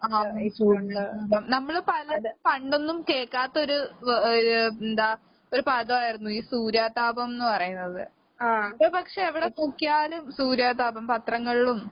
ആഹ് സൂര്യാഖാതം. നമ്മള് പലരും പണ്ടൊന്നും കേക്കാത്തൊരു വെ ഏഹ് എന്താ ഒരു പദായിരുന്നു ഈ സൂര്യാതാപംന്ന് പറയുന്നത്. ഇപ്പ പക്ഷെ എവടെ നോക്കിയാലും സൂര്യാതാപം. പത്രങ്ങളിലും